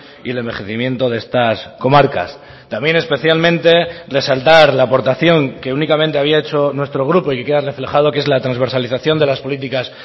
y el envejecimiento de estas comarcas también especialmente resaltar la aportación que únicamente había hecho nuestro grupo y queda reflejado que es la transversalización de las políticas